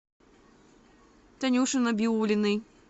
танюши набиуллиной